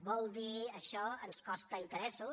vol dir que això ens costa interessos